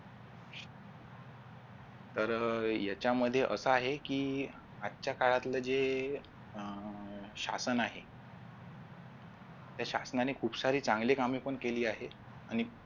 तर याच्यामध्ये अस आहे की आजच्या काळातलं जे अह शासन आहे त्या शासनाने खूप सारे चांगली कामे पण केली आहेत आणि